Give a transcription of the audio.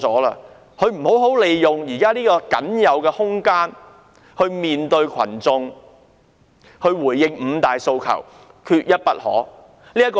她沒有好好利用現在僅餘的空間面對群眾，回應缺一不可的"五大訴求"。